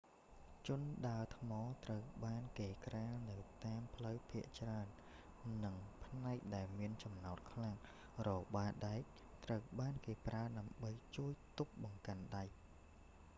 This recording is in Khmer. ជណ្ដើរថ្ម ត្រូវបានគេក្រាលនៅតាមផ្លូវភាគច្រើន និងផ្នែកដែលមានចំណោទខ្លាំង របាដែកត្រូវបានគេប្រើដើម្បីជួបទប់បង្កាន់ដែ